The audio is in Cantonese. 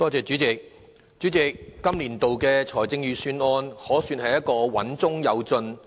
代理主席，本年度的財政預算案可算是穩中有進。